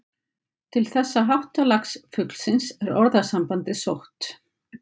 Til þessa háttalags fuglsins er orðasambandið sótt.